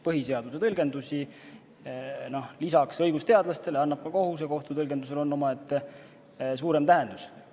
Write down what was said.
Põhiseaduse tõlgendusi annab lisaks õigusteadlastele ka kohus, ja kohtu tõlgendustel on omaette suurem tähendus.